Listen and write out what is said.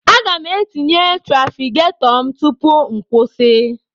Aga m etinye trafigetọ m tupu m kwụsị.